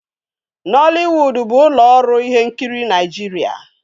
Noliwudu bụ ụlọ ọrụ ihe nkiri Naịjirịa.